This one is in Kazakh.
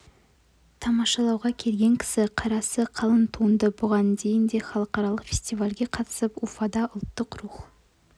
тамашалауға келген кісі қарасы қалың туынды бұған дейін де халықаралық фестивальге қатысып уфада ұлттық рух